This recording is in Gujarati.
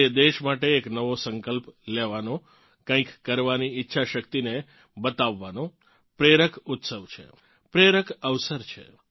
તે દેશ માટે એક નવો સંકલ્પ લેવાનો કંઇક કરવાની ઇચ્છાશક્તિને બતાવવાનો પ્રેરક ઉત્સવ છે પ્રેરક અવસર છે